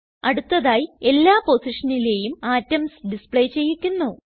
അടുത്തതായി എല്ലാ പൊസിഷനിലേയും അറ്റോംസ് ഡിസ്പ്ലേ ചെയ്യിക്കുന്നു